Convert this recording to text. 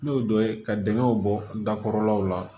N'o dɔ ye ka dingɛw bɔ dakɔrɔ law la